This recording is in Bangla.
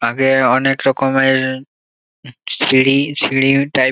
আগে অনেক রকমের সিঁড়ি সিঁড়ি টাইপ ।